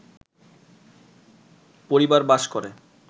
পরিবার বাস করে